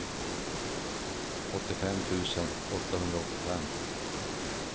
åttiofem tusen åttahundraåttiofem